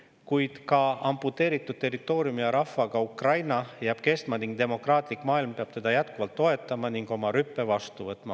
Kuid ka amputeeritud territooriumi ja rahvaga Ukraina jääb kestma ning demokraatlik maailm peab teda jätkuvalt toetama ja oma rüppe vastu võtma.